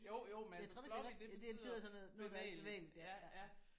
Jeg tror det rigtigt det betyder sådan noget noget der er bevægeligt ja